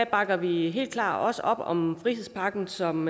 bakker vi helt klart op om frihedspakken som